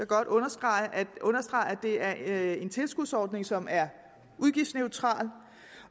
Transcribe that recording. godt understrege at det er en tilskudsordning som er udgiftsneutral